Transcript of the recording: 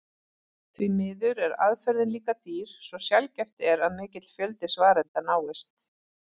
Því miður er aðferðin líka dýr svo sjaldgæft er að mikill fjöldi svarenda náist.